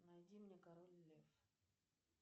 найди мне король лев